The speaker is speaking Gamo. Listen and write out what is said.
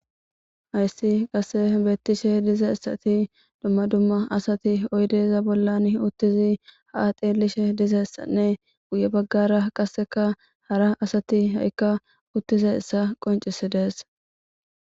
hayssi qasse beettishe dizeissati dumma dumma asati oydeeza bollan uttizi ha7ateelishe dizessanne guye baggara qasseka hara asati ha7ikka uttize issa qoncisi dees